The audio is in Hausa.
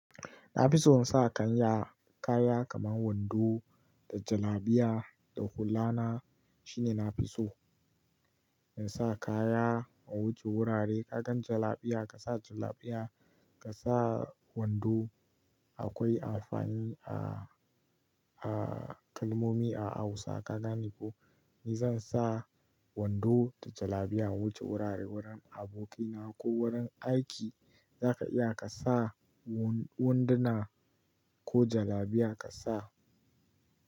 Na fi so in sa kaya, kaya kamar wando da jalabiya da hulla na shine na fi so in sa kaya in wuce wurare. Ka gan jalabiya ka sa jalabiya, ka sa wando akwai amfani a, a kalmomi a Hausa ka gane ko. Ni zan sa wando da jalabiya in wuce wurare wurin abokina ko wurin aiki za ka iya ka sa wun-wanduna ko jalabiya ka sa.